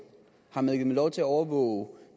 har man givet dem lov til at overvåge